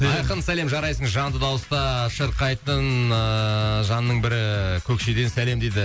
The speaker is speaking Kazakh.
айқын сәлем жарайсың жанды дауыста шырқайтын ыыы жанның бірі көкшеден сәлем дейді